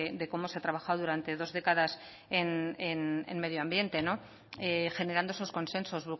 de cómo se ha trabajado durante dos décadas en medio ambiente generando esos consensos